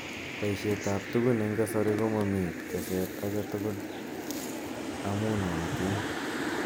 Boishet ab tugun eng kasari komamii teset age tugul amuu nootin.